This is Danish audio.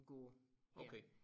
God her